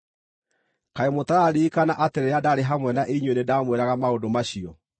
Kaĩ mũtararirikana atĩ rĩrĩa ndarĩ hamwe na inyuĩ nĩndamwĩraga maũndũ macio?